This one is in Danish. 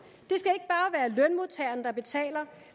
det der betaler